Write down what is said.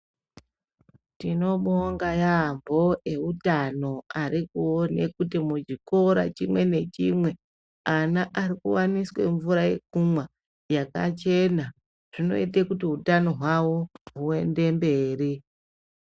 Tinombonga yambo, eutano arikuone kuti muchikora chimwe nachimwe ana arikuwaniswe mvura yekumwa ,yakachena zvinoita kuti hutano hwavo kuenda mberi.